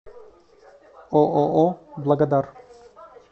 ооо благодар